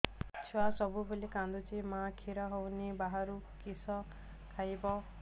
ଛୁଆ ସବୁବେଳେ କାନ୍ଦୁଚି ମା ଖିର ହଉନି ବାହାରୁ କିଷ ଖାଇବ